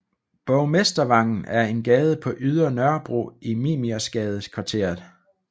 Borgmestervangen er en gade på Ydre Nørrebro i Mimersgadekvarteret